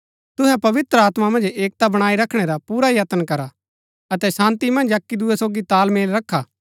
तुहै पवित्र आत्मा मन्ज एकता बणाई रखणै रा पुरा यत्न करा अतै शान्ती मन्ज अक्की दूये सोगी तालमेल रखा